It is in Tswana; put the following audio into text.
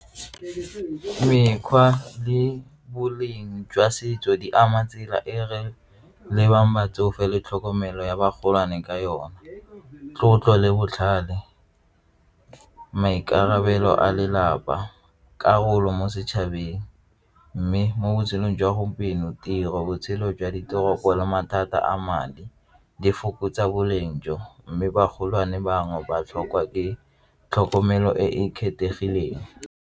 Mekgwa le boleng jwa setso di ama tsela e re lebang batsofe le tlhokomelo ya bagolwane ka yona, tlotlo le botlhale, maikarabelo a lelapa, karolo mo setšhabeng mme mo botshelong jwa gompieno, tiro botshelo jwa diteropo le mathata a madi di fokotsa boleng jo mme bagolwane bangwe ba tlhokwa ke tlhokomelo e e kgethegileng.